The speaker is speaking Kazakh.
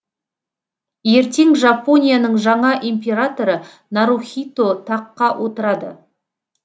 ертең жапонияның жаңа императоры нарухито таққа отырады